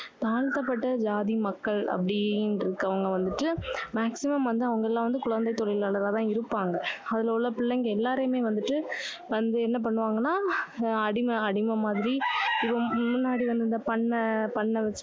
தாழ்த்தப்பட்ட ஜாதி மக்கள் அப்படின்னு இருக்கவங்க வந்துட்டு, maximum வந்து அவங்க எல்லாம் வந்து குழந்தை தொழிலாளரா தான் இருப்பாங்க. அதுல உள்ள பிள்ளைளைங்க எல்லாரையுமே வந்துட்டு, வந்து என்ன பண்ணுவாங்கன்னா, அஹ் அடிமை அடிமை மாதிரி ரொம்~ முன்னாடி வந்து இந்த பண்ணை~ பண்ணை~